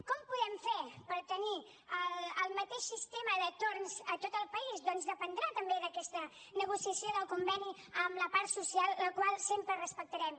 com ho podem fer per tenir el mateix sistema de torns a tot el país doncs dependrà també d’aquesta negociació del conveni amb la part social la qual sempre respectarem